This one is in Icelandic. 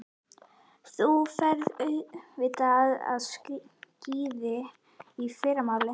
Þú ferð auðvitað á skíði í fyrramálið.